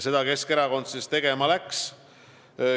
Seda Keskerakond tegema läkski.